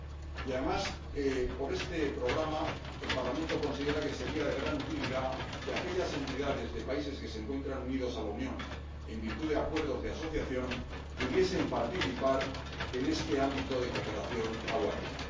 Y, además, con este Programa, el Parlamento considera que sería de gran utilidad que aquellas entidades de países que se encuentran unidos a la Unión en virtud de acuerdos de asociación pudiesen participar en este ámbito de cooperación aduanera.